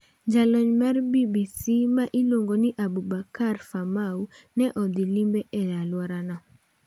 Jalony mar BBC ma iluongo ni Aboubakar Famau ne odhi limbe e alworano.